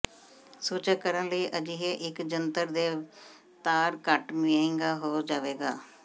ਸੂਚਕ ਕਰਨ ਲਈ ਅਜਿਹੇ ਇੱਕ ਜੰਤਰ ਦੇ ਤਾਰ ਘੱਟ ਮਹਿੰਗਾ ਹੋ ਜਾਵੇਗਾ